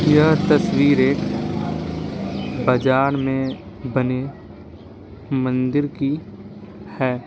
यह तस्वीर एक बाजार में बनी मंदिर की है।